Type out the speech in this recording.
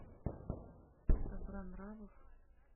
добронравов